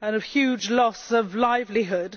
and a huge loss of livelihood.